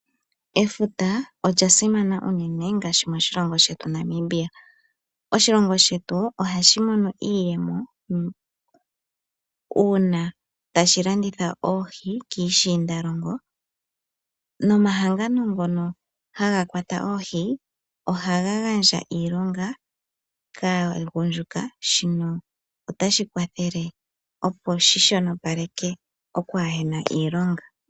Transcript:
Efuta olya simana unene ngaashi moshilongo shetu Namibia. Oshilongo shetu ohashi mono iiyemo uuna tashi landitha oohi kiishiindalongo nomahangano ngono haga kwata oohi ohaga gandja iilonga kaagundjuka, shino otashi kwathele, opo shi shonopapeleke okwaahe na iilonga.